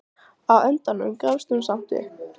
Á endanum gafst hún samt upp.